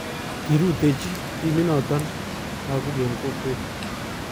kirutechi timinoto lakok eng kokwet